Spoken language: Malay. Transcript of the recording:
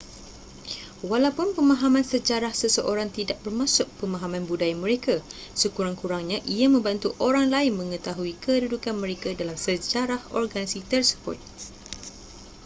walaupun pemahaman sejarah seseorang tidak bermaksud pemahaman budaya mereka sekurang-kurangnya ia membantu orang lain mengetahui kedudukan mereka dalam sejarah organisasi tersebut